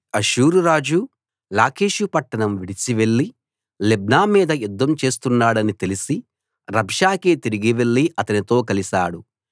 అష్షూరు రాజు లాకీషు పట్టణం విడిచి వెళ్లి లిబ్నా మీద యుద్ధం చేస్తున్నాడని తెలిసి రబ్షాకే తిరిగి వెళ్ళి అతనితో కలిశాడు